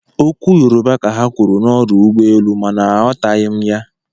Okwu Yoroba ka ha kwuru n'ọdụ ụgbọelu mana aghọtaghị m ya.